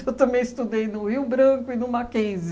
Eu também estudei no Rio Branco e no Mackenzie.